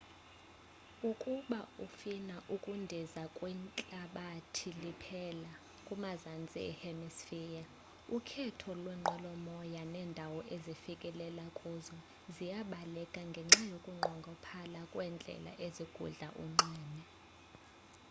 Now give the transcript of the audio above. ukuba ufina ukundiza kwihlabathi liphela kumazantsi e hemisphere ukhetho lwenqwelomoya nendawo ezifikelela kuzo ziyabaleka ngenxa yokunqongophala kwendlela ezigudla unxweme